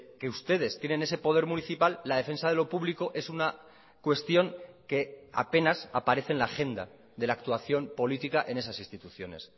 que ustedes tienen ese poder municipal la defensa de lo público es una cuestión que apenas aparece en la agenda de la actuación política en esas instituciones